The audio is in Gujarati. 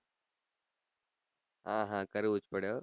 હા હા કરવું જ પડે હો